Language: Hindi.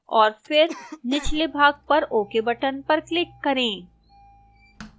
और फिर निचले भाग पर ok button पर click करें